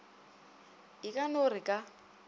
e ka no re ka